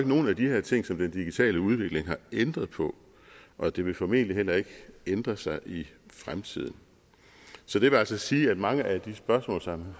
nogen af de her ting som den digitale udvikling har ændret på og det vil formentlig heller ikke ændre sig i fremtiden så det vil altså sige at mange af de spørgsmål som